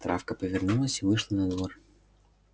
травка повернулась и вышла на двор